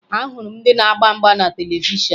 Ahụrụ m ndị na-agba mgba na televishọn